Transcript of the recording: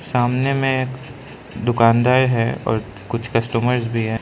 सामने में दुकानदार है और कुछ कस्टमर भी है।